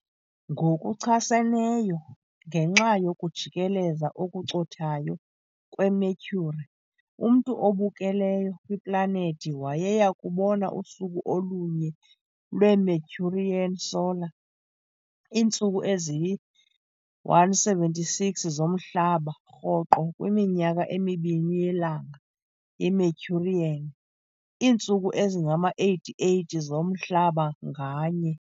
Ngokuchaseneyo, ngenxa yokujikeleza okucothayo kweMercury, umntu obukeleyo kwiplanethi wayeya kubona usuku olunye lwe-Mercurian solar, iintsuku eziyi-176 zomhlaba, rhoqo kwiminyaka emibini yelanga iMercurian, iintsuku ezingama-88 zomhlaba nganye.